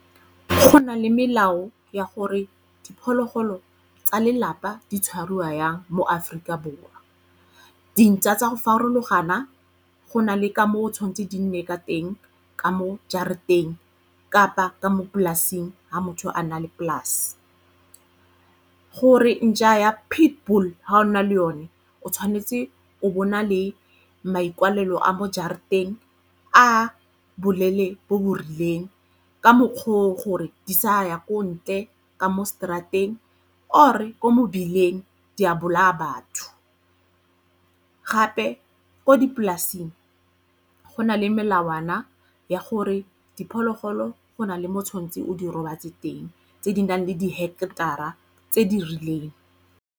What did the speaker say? Go na le melao ya gore diphologolo tsa lelapa di tshwarwa yang mo Aforika Borwa. Dintšwa tsa go farologana go na le ka mo o tshwantse di nne ka teng ka mo jarateng kapa ka mo polasing ga motho a nna le polase. Gore ntšha ya pitbull ha o na le yone o tshwanetse o bona le maikalelo a mo jarateng a boleele bo bo rileng ka mokgwa o gore di sa ya ko ntle ka mo straat-eng or-e mo mebileng di a bolaya batho. Gape ko dipolaseng go na le melawana ya gore diphologolo go na le mo tshwanetseng o di robatse teng tse di nang le di-hector-ra tse di rileng.